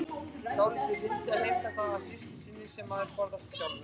Dálítið fyndið að heimta það af systur sinni sem maður forðast sjálfur.